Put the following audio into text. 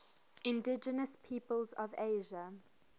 indigenous peoples of asia